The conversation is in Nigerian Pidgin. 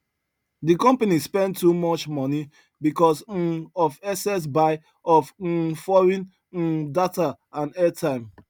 the company spend too much money because um of excess buy of um foreign um data and airtime